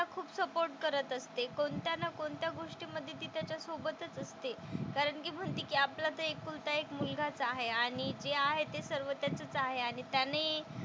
खूप सपोर्ट करत असते. कोणत्या ना कोणत्या गोष्टीमधे ती त्याच्या सोबतच असते. कारण ती म्हणते की आपला तर एकुलता एक मुलगाच आहे आणि जे आहे ते सर्व त्याचंच आहे आणि त्याने,